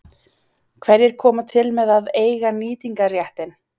Hverjir koma til með að eiga nýtingarréttinn?